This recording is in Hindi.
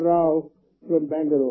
राओ फ्रॉम बैंगलूर